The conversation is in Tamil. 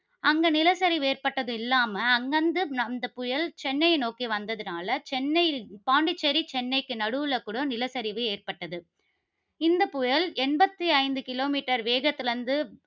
அங்க நிலச்சரிவு ஏற்பட்டதும் இல்லாம, அங்கிருந்து அந்த புயல் சென்னையை நோக்கி வந்ததுனால, சென்னை, பாண்டிச்சேரி சென்னைக்கு நடுவில கூட நிலச்சரிவு ஏற்பட்டது, இந்தப் புயல் எண்பத்தி ஐந்து கிலோ மீட்டர் வேகத்தில இருந்து